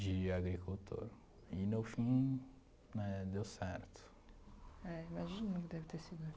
de agricultor e no fim, né, deu certo. É, imagino, que deve ter sido...